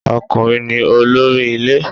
Ọkùnrin ni olórí ilé